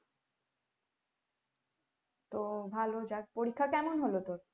ও ভালো যাক পরীক্ষা কেমন হলো তোর